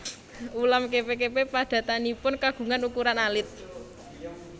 Ulam kepe kepe padatanipun kagungan ukuran alit